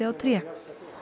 tré